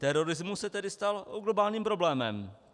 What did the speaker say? Terorismus se tedy stal globálním problémem.